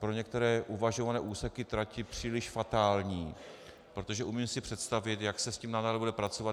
Pro některé uvažované úseky trati příliš fatální, protože umím si představit, jak se s tím nadále bude pracovat.